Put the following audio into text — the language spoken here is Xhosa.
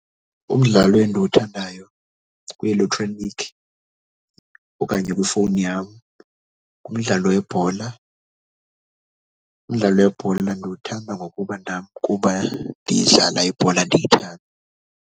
Umdlalo endiwuthandayo kwielektroniki okanye kwifowuni yam ngumdlalo webhola. Umdlalo webhola ndiwuthanda ngokuba nam kuba ndiyidlala ibhola ndiyithanda.